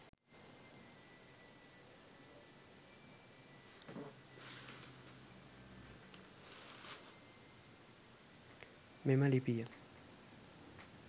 මෙම ලිපිය